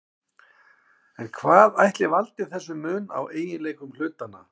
En hvað ætli valdi þessum mun á eiginleikum hlutanna?